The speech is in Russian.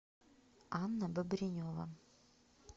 анна бобренева